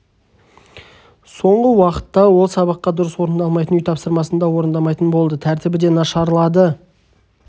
соңғы уақытта ол сабаққа дұрыс дайындалмайтын үй тапсырмасында орындамайтын болды тәртібі де нашарлады